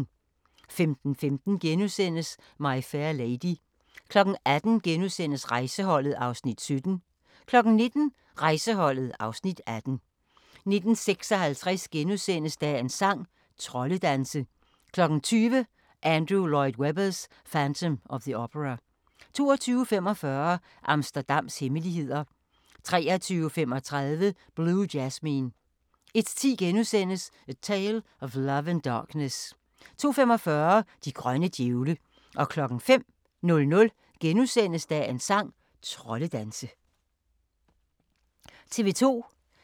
15:15: My Fair Lady * 18:00: Rejseholdet (Afs. 17)* 19:00: Rejseholdet (Afs. 18) 19:56: Dagens sang: Troldedanse * 20:00: Andrew Lloyd Webbers: Phantom of the Opera 22:45: Amsterdams hemmeligheder 23:35: Blue Jasmine 01:10: A Tale of Love and Darkness * 02:45: De grønne djævle 05:00: Dagens sang: Troldedanse *